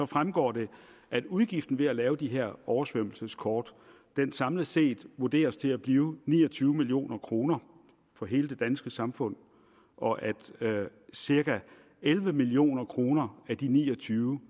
fremgår det at udgiften ved at lave de her oversvømmelseskort samlet set vurderes til at blive ni og tyve million kroner for hele det danske samfund og at cirka elleve million kroner af de ni og tyve